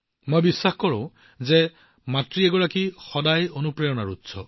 মই বিশ্বাস কৰোঁ যে এগৰাকী নিজেও অনুপ্ৰেৰণাস্বৰূপ